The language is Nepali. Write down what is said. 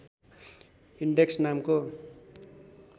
इन्डेक्स नामको